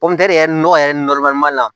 yɛrɛ nɔgɔ yɛrɛ la